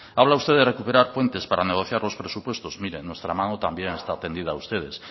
habla usted de recuperar puentes para negociar los presupuestos mire nuestra mano también está tendida a ustedes